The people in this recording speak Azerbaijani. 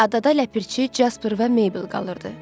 Adada ləpirçi, Jasper və Mabel qalırdı.